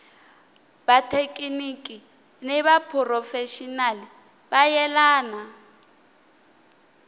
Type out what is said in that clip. vathekiniki ni vaphurofexinali vo yelana